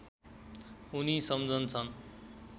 उनी सम्झन्छन्